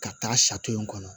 Ka taa kɔnɔ